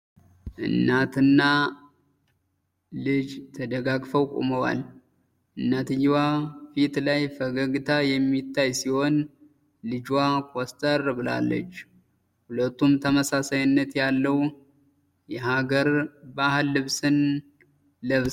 እናት እና ልጅ ተደጋግፈው ቆመዋል። እናትየዋ ፊት ላይ ፈገግታ የሚታይ ሲሆን ልጅየዋ ኮስተር ብላለች። ሁለቱም ተመሳሳይነት ያለው የሃገር ባህል ልብስን ለብሰዋል።